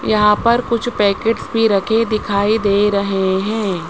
यहां पर कुछ पैकेट्स भी रखे दिखाई दे रहे हैं।